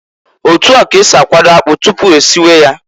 Otu a k'esi akwado akpụ tụpụ esiwe ya.